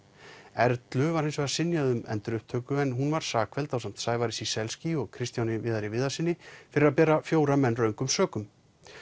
Erlu var synjað um endurupptöku en hún var sakfelld ásamt Sævari Ciesielski og Kristjáni Viðari Viðarssyni fyrir að bera fjóra menn röngum sökum